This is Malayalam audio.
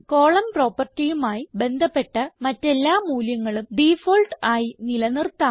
കോളം propertyമായി ബന്ധപ്പെട്ട മറ്റെല്ലാ മൂല്യങ്ങളും ഡിഫാൾട്ട് ആയി നില നിർത്താം